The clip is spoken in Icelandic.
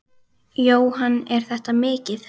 Jóhann: Er þetta mikið?